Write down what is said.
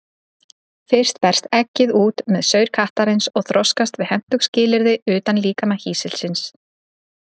Fyrst berst eggið út með saur kattarins og þroskast við hentug skilyrði utan líkama hýsilsins.